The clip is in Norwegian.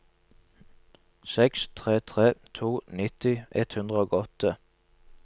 seks tre tre to nitti ett hundre og åtte